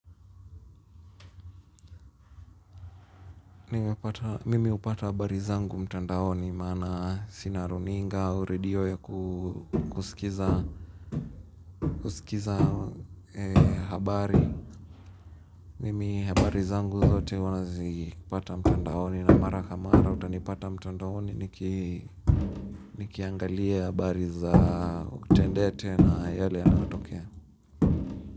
Mimi hupata habari zangu mtandaoni maana sina runinga au redio ya kusikiza habari mimi habari zangu zote huwa nazipata mtandaoni na mara kwa mara utanipata mtandaoni niki nikiangalia habari za utendete na yale yanayotokea.